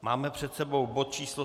Máme před sebou bod číslo